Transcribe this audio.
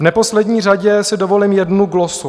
V neposlední řadě si dovolím jednu glosu.